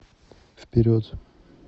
вперед